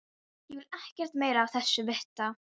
Ég vil ekkert meira af þessu vita.